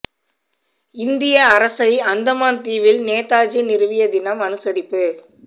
இந்திய அரசை அந்தமான் தீவில் நேதாஜி நிறுவிய தினம் அனுசரிப்பு